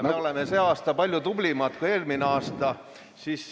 Me oleme sel aastal olnud palju tublimad kui eelmisel aastal.